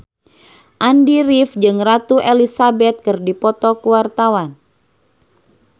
Andy rif jeung Ratu Elizabeth keur dipoto ku wartawan